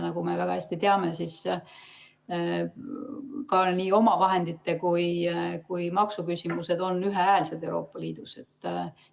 Nagu me väga hästi teame, siis nii omavahendite kui ka maksuküsimused on Euroopa Liidus ühehäälselt otsustatavad.